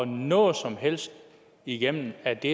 noget som helst igennem af det